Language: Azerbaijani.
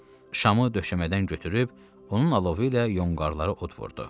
Şamı döşəmədən götürüb, onun alovu ilə yonqarları od vurdu.